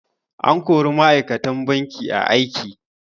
An kori ma'aikatan banki a aiki.